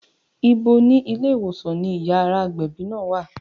Ibo ni yàrá ìgbẹ̀bí ilé ìwòsàn náà wà?